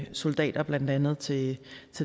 soldater blandt andet til